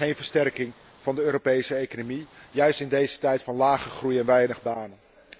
Dat is geen versterking van de Europese economie, juist in deze tijd van lage groei en weinig banen.